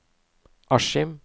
Askim